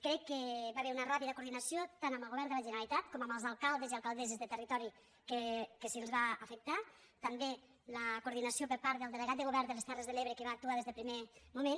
crec que hi va haver una ràpida coordinació tant amb el govern de la generalitat com amb els alcaldes i alcaldesses del territori que els va afectar també la coordinació amb el delegat de govern de les terres de l’ebre que va actuar des del primer moment